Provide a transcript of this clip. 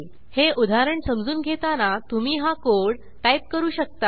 हे उदाहरण समजून घेताना तुम्ही हा कोड टाईप करू शकता